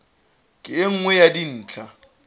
ke e nngwe ya dintlha